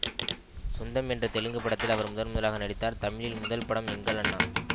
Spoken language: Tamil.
சொந்தம் என்ற தெலுங்கு படத்தில் அவர் முதன்முதலாக நடித்தார் தமிழில் முதல் படம் எங்கள் அண்ணா